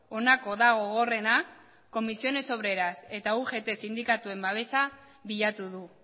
honako da gogorrena comisiones obreras eta ugt sindikatuen babesa bilatu du